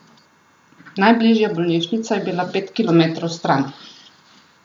Najbližja bolnišnica je bila pet kilometrov stran.